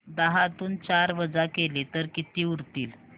दहातून चार वजा केले तर किती उरतील